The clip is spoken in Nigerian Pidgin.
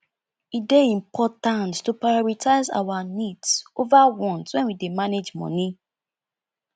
e dey important to prioritize our needs over wants when we dey manage money